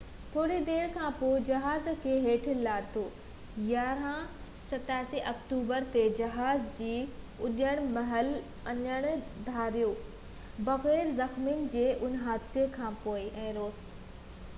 7 October تي جهاز جي اُڏڻ مهل انجڻ ڌار ٿيو بغير زخمين جي ان حادثي کانپونءِ روس il-76 کي ٿوري دير کانپوءِ جهاز کي هيٺ لاٿو